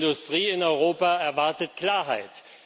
Die Industrie in Europa erwartet Klarheit.